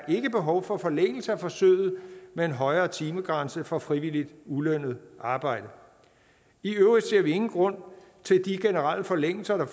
ikke er behov for forlængelse af forsøget med en højere timegrænse for frivilligt ulønnet arbejde i øvrigt ser vi ingen grund til de generelle forlængelser af